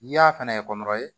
N'i y'a fɛnɛ